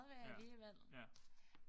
Ja ja